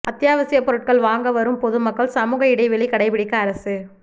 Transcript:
அத்தியாவசிய பொருட்கள் வாங்க வரும் பொது மக்கள் சமூக இடைவெளி கடைபிடிக்க அரசு